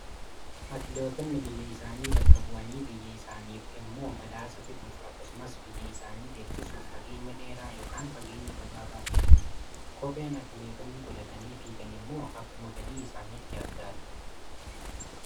Atileetonni biyya isaanii bakka bu'anii, biyya isaaniif immoo badhaasa fiduuf, akkasumas biyya isaanii beeksisuuf, fageenya dheeraa yookaan fageenya gabaabaa fiigu. Kopheen atileetonni godhatanii fiigan immoo akkuma fedhii isaaniitti adda adda.